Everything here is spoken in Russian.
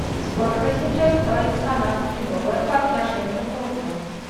сколько сейчас стоит канадский доллар по отношению к рублю